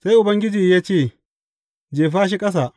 Sai Ubangiji ya ce, Jefa shi ƙasa.